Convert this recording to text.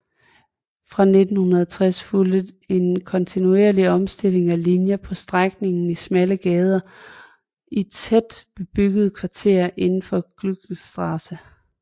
Fra 1960 fulgte en kontinuerlig omstilling af linjer på strækninger i smalle gader i de tæt bebyggede kvarterer indenfor Gürtelstraße